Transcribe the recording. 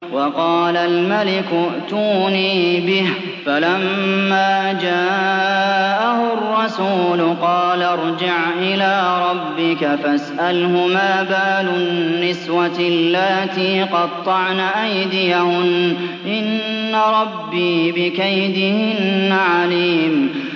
وَقَالَ الْمَلِكُ ائْتُونِي بِهِ ۖ فَلَمَّا جَاءَهُ الرَّسُولُ قَالَ ارْجِعْ إِلَىٰ رَبِّكَ فَاسْأَلْهُ مَا بَالُ النِّسْوَةِ اللَّاتِي قَطَّعْنَ أَيْدِيَهُنَّ ۚ إِنَّ رَبِّي بِكَيْدِهِنَّ عَلِيمٌ